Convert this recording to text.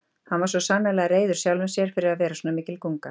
Hann var svo sannarlega reiður sjálfum sér fyrir að vera svona mikil gunga.